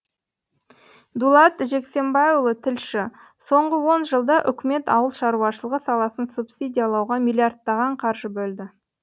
дулат жексенбайұлы тілші соңғы он жылда үкімет ауыл шаруашылығы саласын субсидиялауға миллиардтаған қаржы бөлді